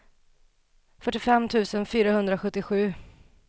fyrtiofem tusen fyrahundrasjuttiosju